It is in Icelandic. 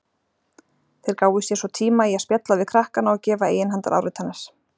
Þeir gáfu sér svo tíma í að spjalla við krakkana og gefa eiginhandaráritanir.